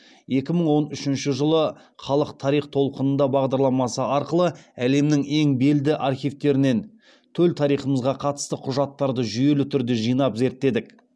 екі мың он үшінші жылы халық тарих толқынында бағдарламасы арқылы әлемнің ең белді архивтерінен төл тарихымызға қатысты құжаттарды жүйелі түрде жинап зерттедік